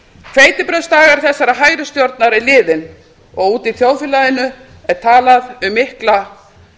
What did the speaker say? hveitibrauðsdagar þessarar hægri stjórnar eru liðnir og úti í þjóðfélaginu er talað um mikla